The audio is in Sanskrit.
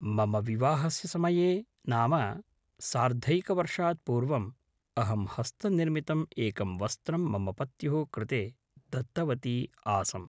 मम विवाहस्य समये नाम सार्द्धैकवर्षात् पूर्वम् अहं हस्तनिर्मितम् एकं वस्त्रं मम पत्युः कृते दत्तवती आसम्